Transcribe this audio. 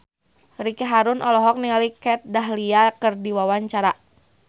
Ricky Harun olohok ningali Kat Dahlia keur diwawancara